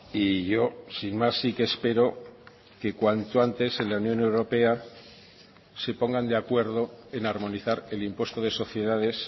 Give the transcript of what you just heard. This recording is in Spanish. y yo sin más sí que espero que cuanto antes en la unión europea se pongan de acuerdo en armonizar el impuesto de sociedades